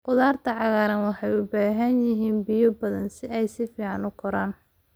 Khudaarta cagaaran waxay u baahan yihiin biyo badan si ay si fiican u koraan.